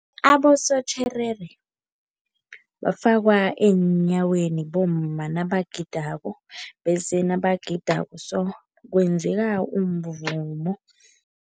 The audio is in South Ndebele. Abosotjherere bafakwa eenyaweni bomma nabagidako bese nabagidako so kwenzeka umvumo.